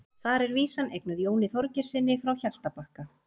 þar er vísan eignuð jóni þorgeirssyni frá hjaltabakka